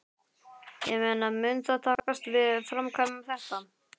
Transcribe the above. Ég meina mun það takast að framkvæma þetta?